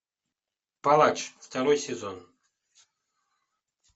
палач второй сезон